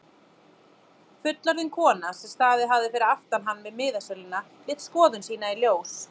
Fullorðin kona sem staðið hafði fyrir aftan hann við miðasöluna lét skoðun sína í ljós.